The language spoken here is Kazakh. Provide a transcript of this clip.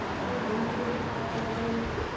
енді осы күнде бұл қалада ондай емес қой